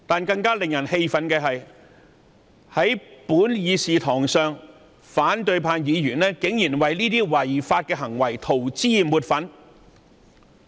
更令人氣憤的是，反對派議員竟然在本議事堂為這些違法行為塗脂抹粉。